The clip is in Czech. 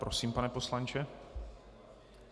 Prosím, pane poslanče.